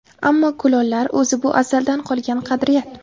Ammo kulollar... O‘zi bu azaldan qolgan qadriyat.